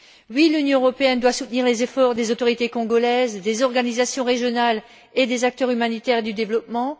Oui, l'Union européenne doit soutenir les efforts des autorités congolaises, des organisations régionales et des acteurs humanitaires et du développement.